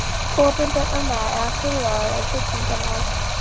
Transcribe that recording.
Opinber umræða eða tillögugerð um byggingarmál